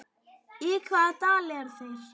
Í hvaða dal eru þeir?